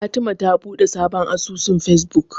Fatima ta buɗe sabon asusun Fesbuk.